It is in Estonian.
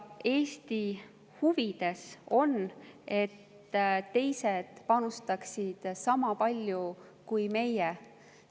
Eesti huvides on, et teised panustaksid sama palju kui meie.